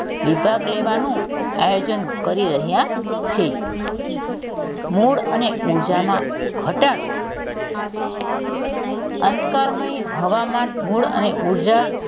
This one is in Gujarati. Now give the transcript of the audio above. વિભાગ લેવાનું આયોજન કરી રહ્યાં છે મૂળ અને ઉર્જામાં ઘટાડો અંધકારમય હવામાન મૂળ અને ઉર્જા,